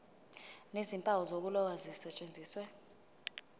nezimpawu zokuloba zisetshenziswe